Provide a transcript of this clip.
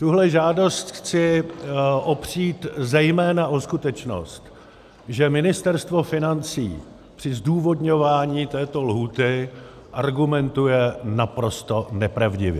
Tuhle žádost chci opřít zejména o skutečnost, že Ministerstvo financí při zdůvodňování této lhůty argumentuje naprosto nepravdivě.